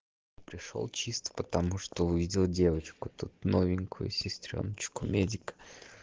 пришёл чисто потому что увидел девочку новенькую сестреёночку медика